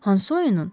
Hansı oyunun?